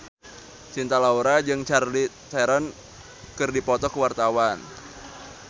Cinta Laura jeung Charlize Theron keur dipoto ku wartawan